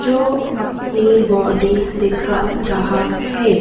जो अपनी बॉडी दिखा रहा है।